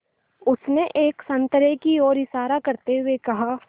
उसने एक संतरे की ओर इशारा करते हुए कहा